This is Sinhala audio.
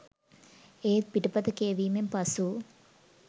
ඒත් පිටපත කියවීමෙන් පසු